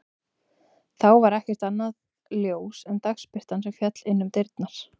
Þá var ekkert annað ljós en dagsbirtan sem féll inn um dyrnar.